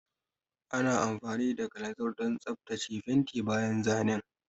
Ana amfani da kalanzir don tsaftace fenti bayan zanen.